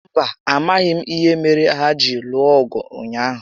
Mba, amaghị m ìhè méré hà jiri lụọ ọgụ ụnyaahụ